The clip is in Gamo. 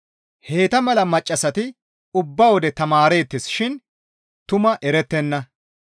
Heyta mala maccassati ubba wode tamaareettes shin tumaa erettenna.